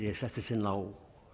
ég settist inn á